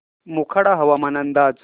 मोखाडा हवामान अंदाज